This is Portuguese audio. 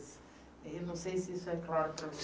Eu não sei se isso é claro para